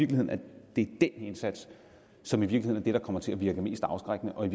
den indsats som i virkeligheden er det der kommer til at virke mest afskrækkende og i